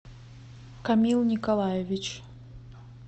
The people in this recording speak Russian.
камил николаевич